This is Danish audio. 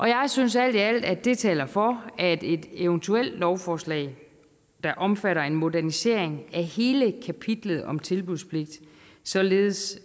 jeg synes alt i alt at det taler for at et eventuelt lovforslag omfatter en modernisering af hele kapitlet om tilbudspligt således